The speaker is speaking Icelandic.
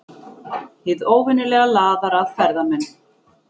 Hið óvenjulega laðar að ferðamenn